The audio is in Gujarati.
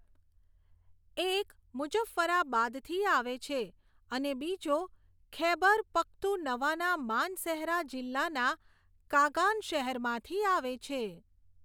એક મુજ્જફરાબાદથી આવે છે અને બીજો ખૈબર પખ્તુનવાના માનસેહરા જિલ્લાના કાગાન શહેરમાંથી આવે છે.